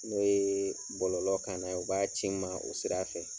N'o ye bɔlɔlɔ kan na ye u b'a ci n ma o sira fɛ.